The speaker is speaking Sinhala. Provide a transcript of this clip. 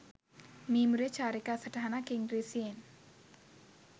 මීමුරේ චාරිකා සටහනක් ඉංග්‍රීසියෙන්